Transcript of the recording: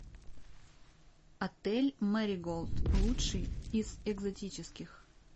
отель мэриголд лучший из экзотических